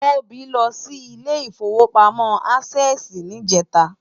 Tobi lò si Ilé Ifówópámò Ásèsì nijètá